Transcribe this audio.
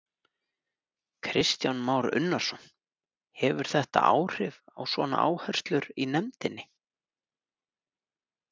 Kristján Már Unnarsson: Hefur þetta áhrif á svona áherslur í nefndinni?